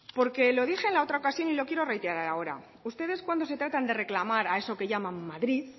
porque lo dije en la otra ocasiones y lo quiero reiterar ahora ustedes cuando se trata de reclamar a eso que llaman madrid